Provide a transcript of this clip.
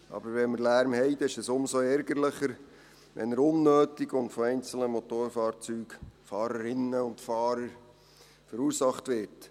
Aber wenn wir Lärm haben, ist es umso ärgerlicher, wenn er unnötig und von einzelnen Motorfahrzeugen, Fahrerinnen und Fahrern, verursacht wird.